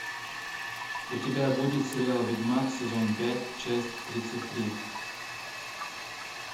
у тебя будет сериал ведьмак сезон пять часть тридцать три